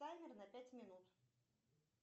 таймер на пять минут